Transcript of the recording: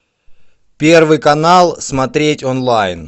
первый канал смотреть онлайн